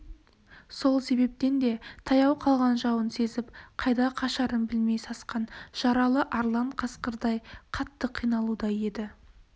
сол себептен де таяу қалған жауын сезіп қайда қашарын білмей сасқан жаралы арлан қасқырдай қатты қиналуда еді